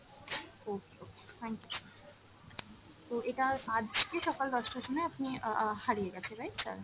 okay okay, thank you sir, তো এটা আজকে সকাল দশটার সময় আপনি অ্যাঁ অ্যাঁ হারিয়ে গেছে right sir!